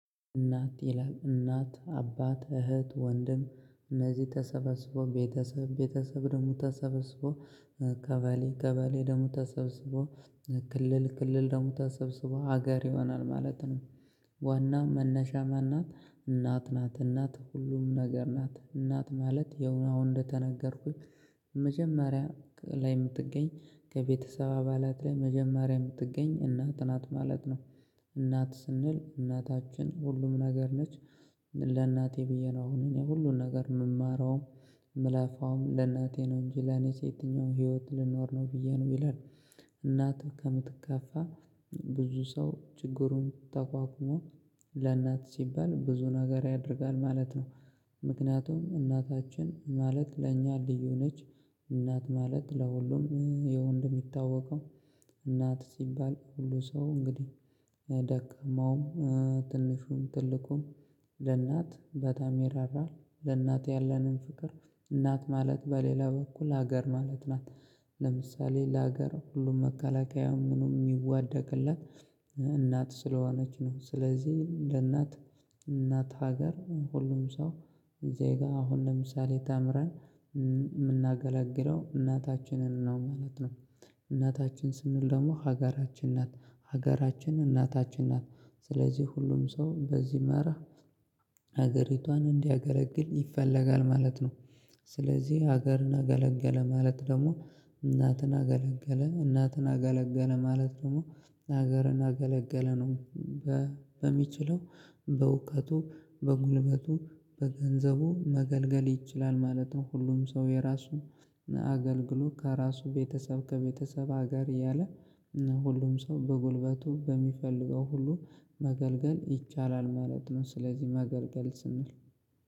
እናት ይላል እናት አባት እህት ወንድም እነዚህ ተሰበስቦ ቤተሰብ ቤተሰብ ደግሞ ተሰበስቦ ቀበሌ ቀበሌ ደሞ ተሰብስቦ ክልል ክልል ደሞ ተሰብስቦ ሀገር ይሆናል ማለት ነው። ዋና መነሻ ማን ናት እናት ናት እናት ሁሉም ነገር ናት እናት ማለት ያው አሁን እንደተነገርኩት መጀመሪያ ላይ የምትገኝ ከቤተሰብ አባላት ላይ መጀመሪያ የምትገኝ እናት ናት ማለት ነው። እናት ስንል እናታችን ሁሉም ነገር ነች። ለእናቴ ብዬ ነው አሁን እኔ ሁሉን ነገር የምማረውም የምለፋውም ለእናቴ ነው እንጂ ለኔ የትኛው ህይወት ልኖር ነው ብዬ ነው ይላል። እናትህ ከምትከፋ ብዙ ሰው ችግሩን ተቋቁሞ ለእናት ሲባል ብዙ ነገር ያደርጋል ማለት ነው። ምክንያቱም እናታችን ማለት ለእኛ ልዩ ነች። እናት ማለት ለሁሉም ያው እንደ ሚታወቀው እናት ሲባል ሁሉ ሰው እንግዲህ ደካማውም ትንሹም ትልቁም ለእናት በጣም ሚራራ ለእናት ያለንን ፍቅር እናት ማለት በሌላ በኩል ሀገር ማለት ናት። ለምሳሌ ለሀገር ሁሉም መከላከያ ምኑ የሚዋደቅላት እናት ስለሆነች ነው። ስለዚህ ለእናት እናት ሀገር ሁሉም ሰው እዚህ ጋር አሁን ለምሳሌ ተምረን የምናገላግለው እናታችንን ነው ማለት ነው። እናታችን ስንል ደግሞ ሀገራችን ናት ሀገራችን እናታችን ናት ስለዚህ ሁሉም ሰው በዚህ መራ ሀገሪቷን እንዲያገለግል ይፈለጋል ማለት ነው። ስለዚህ ሀገርን አገለገለ ማለት ደግሞ እናትን አገለገለ እናትን አገለገለ ማለት ደግሞ ሀገርን አገለገለ ነው። በሚችለው በእውቀቱ በጉልበቱ በገንዘቡ መገልገል ይችላል ማለት ነው። ሁሉም ሰው የራሱን አገልግሎት ከራሱ ቤተሰብ ከቤተሰብ ሀገር ያለ ሁሉም ሰው በጉልበቱ በሚፈልገው ሁሉ መገልገል ይቻላል ማለት ነው። ስለዚህ ማገልገል ስንል